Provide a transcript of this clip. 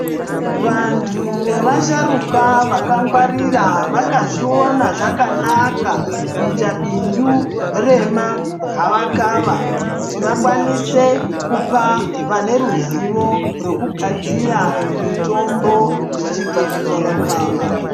Vantu vevasharuka vakangwarira vakazviona zvakanaka kuita bindu remagava kava kuti vakwanise kupa vane ruzivo rekugadzira mutombo zvichibva kugava kava.